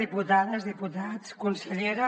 diputades diputats consellera